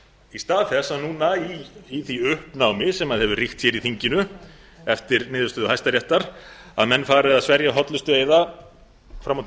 í stað þess að núna í því uppnámi sem hefur ríkt hér í þinginu eftir niðurstöðu hæstaréttar að menn fari að sverja hollustueiða fram og til